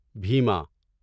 Bhima